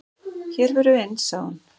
"""Hér förum við inn, sagði hún."""